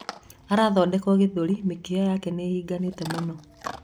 Arathondekwo githuri mĩkiha yake nĩĩhinganĩte mũno